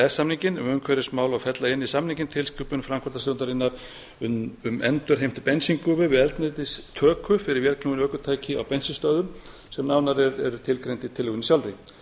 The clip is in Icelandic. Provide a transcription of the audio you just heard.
samninginn um umhverfismál og fella inn í samninginn tilskipun framkvæmdastjórnarinnar um endurheimt bensíngufu við eldsneytistöku fyrir vélknúin ökutæki á bensínstöðvum sem nánar er tilgreint í tillögunni sjálfri